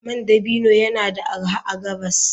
Man dabino yana da arha a gabas.